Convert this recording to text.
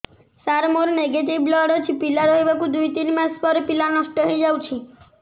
ସାର ମୋର negative blood ଅଛି ପିଲା ରହିବାର ଦୁଇ ତିନି ମାସ ପରେ ପିଲା ନଷ୍ଟ ହେଇ ଯାଉଛି